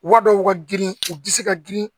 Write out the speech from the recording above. Wa dɔw ka girin u bɛ se ka girin